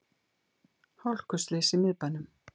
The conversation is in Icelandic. Hálkuslys í miðbænum